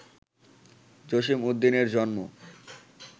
জসীম উদ্দীনের জন্ম